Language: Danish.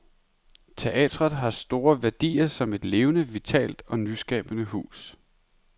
Teatret har store værdier som et levende, vitalt og nyskabende hus.